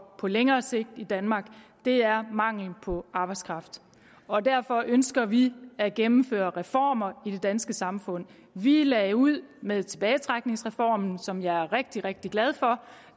på længere sigt i danmark er mangel på arbejdskraft og derfor ønsker vi at gennemføre reformer i det danske samfund vi lagde ud med tilbagetrækningsreformen som jeg er rigtig rigtig glad for